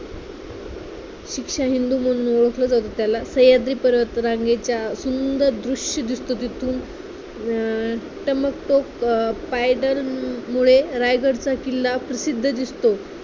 शिक्षा बिंदू म्हणून ओळखलं जातं त्याला सह्याद्री पर्वतरांगेचा सुंदर दृश्य दिसतं तिथुन अं टकमक टोक अं point मुळे रायगडचा किल्ला प्रसिद्ध दिसतो.